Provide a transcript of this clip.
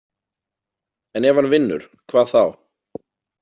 En ef hann vinnur, hvað þá?